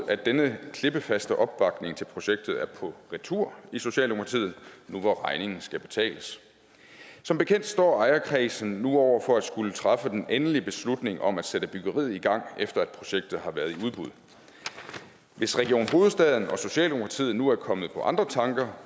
at denne klippefaste opbakning til projektet er på retur i socialdemokratiet nu hvor regningen skal betales som bekendt står ejerkredsen nu over for at skulle træffe den endelige beslutning om at sætte byggeriet i gang efter at projektet har været i udbud hvis region hovedstaden og socialdemokratiet nu er kommet på andre tanker